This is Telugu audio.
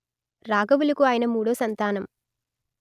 రాఘవులుకు ఆయన మూడో సంతానం